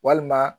Walima